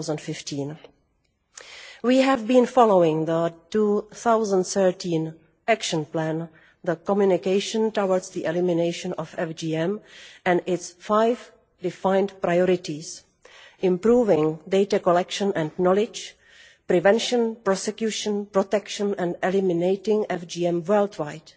2015. We have been following the 2013 action plan, the Communication Towards the elimination of FGM', and its five defined priorities improving data collection and knowledge, prevention, prosecution, protection and eliminating FGM worldwide.